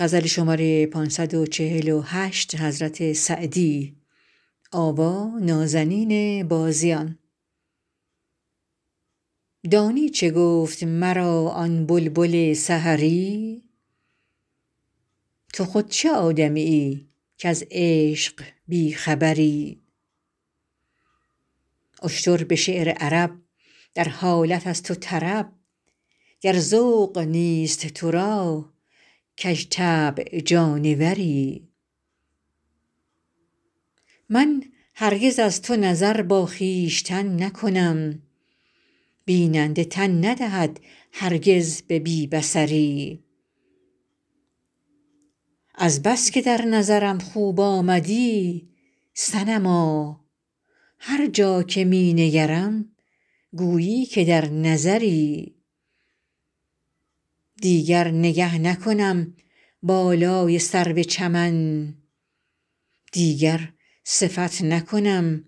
دانی چه گفت مرا آن بلبل سحری تو خود چه آدمیی کز عشق بی خبری اشتر به شعر عرب در حالت است و طرب گر ذوق نیست تو را کژطبع جانوری من هرگز از تو نظر با خویشتن نکنم بیننده تن ندهد هرگز به بی بصری از بس که در نظرم خوب آمدی صنما هر جا که می نگرم گویی که در نظری دیگر نگه نکنم بالای سرو چمن دیگر صفت نکنم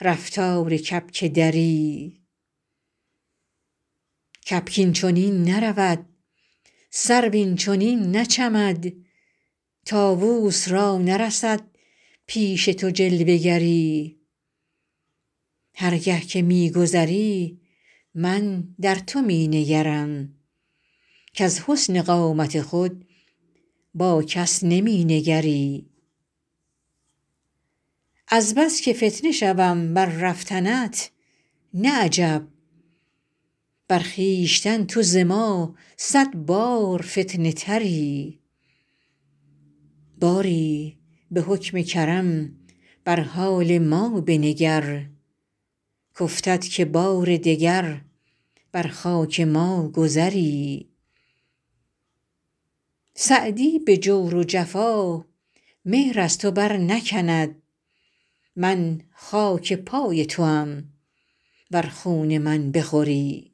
رفتار کبک دری کبک این چنین نرود سرو این چنین نچمد طاووس را نرسد پیش تو جلوه گری هر گه که می گذری من در تو می نگرم کز حسن قامت خود با کس نمی نگری از بس که فتنه شوم بر رفتنت نه عجب بر خویشتن تو ز ما صد بار فتنه تری باری به حکم کرم بر حال ما بنگر کافتد که بار دگر بر خاک ما گذری سعدی به جور و جفا مهر از تو برنکند من خاک پای توام ور خون من بخوری